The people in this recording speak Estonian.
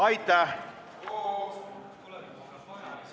Aitäh!